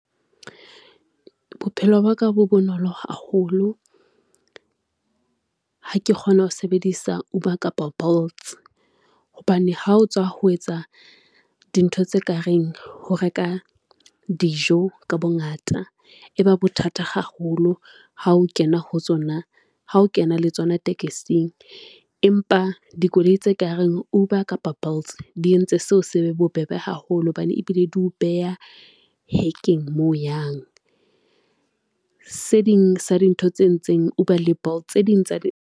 Bophelo ba ka bo bonolo haholo. Ha ke kgona ho sebedisa Uber kapa Bolts, hobane ha o tswa ho etsa dintho tse kareng ho reka dijo ka bongata. E ba bothata haholo ha o kena le tsona tekesing, empa dikoloi tse kareng Uber kapa Bolts di entse seo se be bobebe haholo hobane ebile di ho beha hekeng moo o yang. Se ding sa dintho tse e ntseng Uber le Bolt tse ding tsa di .